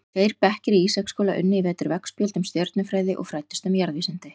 Tveir bekkir í Ísaksskóla unnu í vetur veggspjöld um stjörnufræði og fræddust um jarðvísindi.